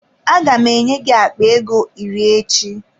Aga m enye gị akpa ego iri echi.